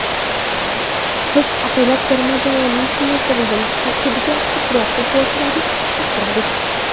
Biz ataylab terma jamoaning kengaytirilgan tarkibiga ko‘proq futbolchilarni chaqirdik.